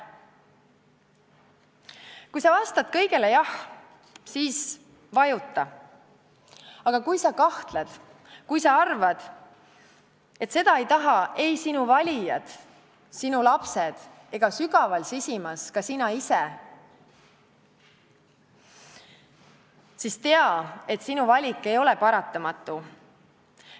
Kui sa vastad kõigele jah, siis vajuta, aga kui sa kahtled, kui sa arvad, et seda ei taha ei sinu valijad, sinu lapsed ega sügaval sisimas ka sina ise, siis tea, et sinu valik ei ole paratamatu.